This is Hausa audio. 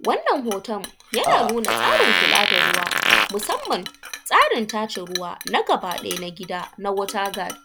Wannan hotun yana nuna tsarin kula da ruwa, musanman tsarin tace ruwa gabaɗaya na gida na water guide.